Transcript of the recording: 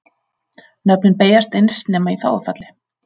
Nöfnin beygjast eins nema í þágufalli.